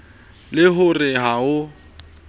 le ho re ha ho